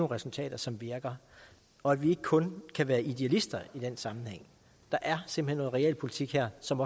resultater som virker og at vi ikke kun kan være idealister i den sammenhæng der er simpelt hen noget realpolitik her som